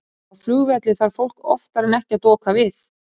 Á flugvelli þarf fólk oftar en ekki að doka við.